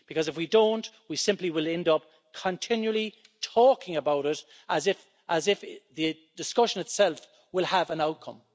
If we don't, we will simply end up continually talking about it as if the discussion itself will have an outcome.